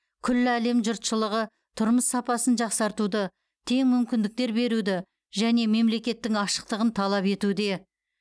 күллі әлем жұртшылығы тұрмыс сапасын жақсартуды тең мүмкіндіктер беруді және мемлекеттің ашықтығын талап етуде